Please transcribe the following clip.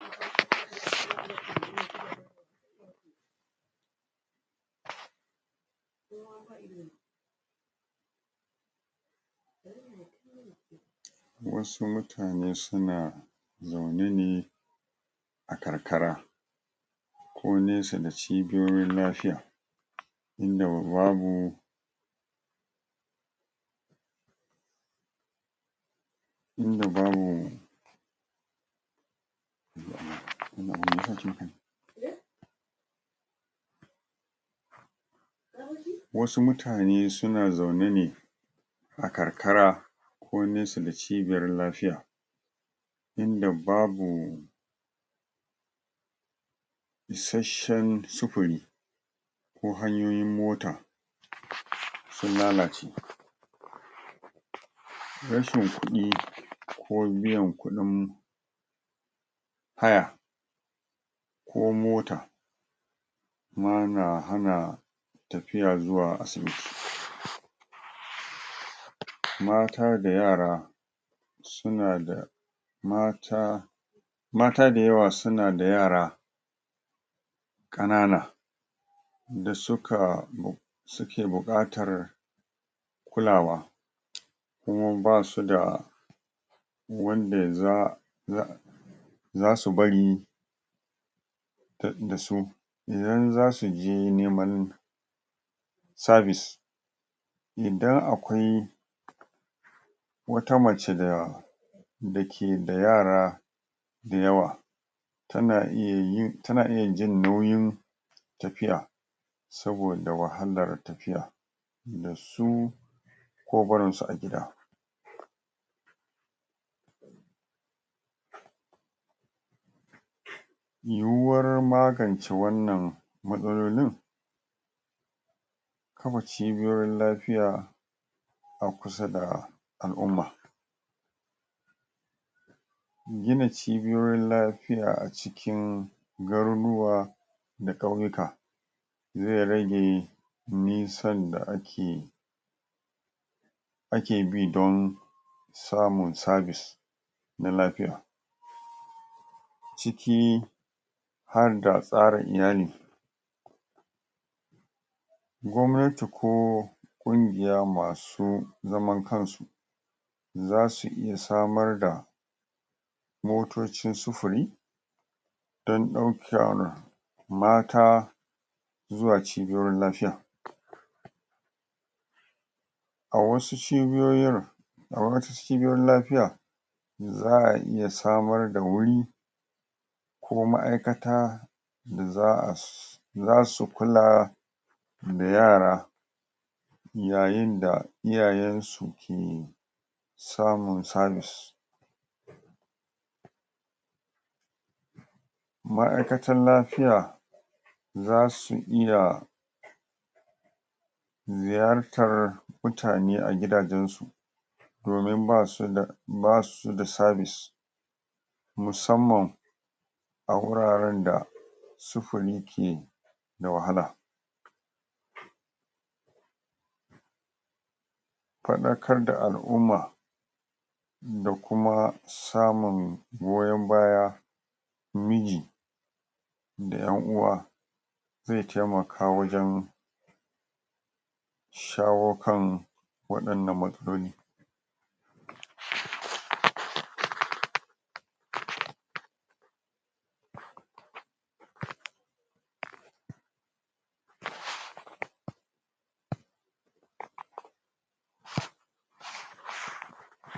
wa'insu mutane suna zaune ne a karkara ko nesa da cibiyoyin lafiya inda babu inda babu wasu mutane suna zaune ne a karkara ko nesa da cibiyar lafiya inda babu isashen sufuri ko hanyoyin mota sun lalace rashin kuɗi ko biyan kuɗin haya ko mota ma na hana tafiya zuwa asibiti. mata da yara suna da mata mata da yawa suna da yara ƙanana da suka suke buƙatar kulawa kuma basuda wanda za za zasu bari ta dasu idan zasu je neman sabis idan akwai wata mace da dake da yara da yawa tana iya yi tana iya jin nauyin tafiya saboda wahalar tafiya dasu ko barin su a gida yiwuwar magance wannan matsalolin kafa cibiyoyin lafiya a kusa da al'umma. gina cibiyoyin lafiya a cikin garuruwa da ƙauyuka zai rage nisan da ake ake bi don samun sabis na lafiya. ciki harda tsarin iyali gwamnati ko ƙungiya masu zaman kansu zasu iya samar da motocin sufuri dan ɗaukar mata zuwa cibiyoyin lafiya a wasu cibiyoyin a wasu cibiyoyin lafiya za'a iya samar da wuri ko ma'aikata da za'a zasu kula da yara yayin da iyayen su ke samun sabis ma'aikatar lafiya zasu iya ziyartar mutane a gidajen su domin basu da basuda sabis musamman a wuraren da sufuri ke da wahala faɗakar da al'umma da kuma samun goyon baya miji da ƴan uwa zai taimaka wajen shawo kan waɗannan matsaloli